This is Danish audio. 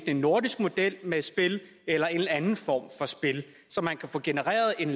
en nordisk model med spil eller en anden form for spil og så man kunne få genereret et